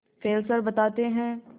Fessler बताते हैं